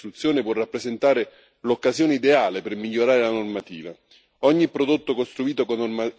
Il riesame del regolamento sui prodotti da costruzione può rappresentare l'occasione ideale per migliorare la normativa.